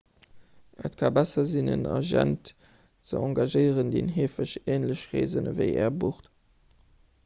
et ka besser sinn en agent ze engagéieren deen heefeg änlech reesen ewéi är bucht